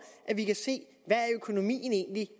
at vi kan se hvad økonomien egentlig er